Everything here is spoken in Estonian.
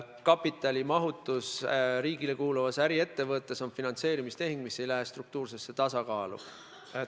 Kapitalimahutus riigile kuuluvas äriettevõttes on finantseerimistehing, mis ei lähe struktuurse tasakaalu arvestusse.